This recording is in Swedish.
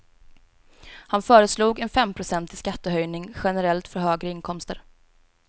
Han föreslog en femprocentig skattehöjning generellt för högre inkomster.